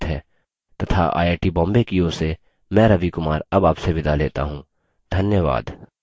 यह स्क्रिप्ट देवेन्द्र कैरवान द्वारा अनुवादित है तथा आई आई टी बॉम्बे की ओर से मैं रवि कुमार अब आपसे विदा लेता हूँ धन्यवाद